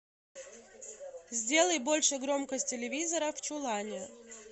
сделай больше громкость телевизора в чулане